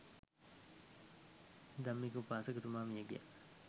ධම්මික උපාසකතුමා මිය ගියා.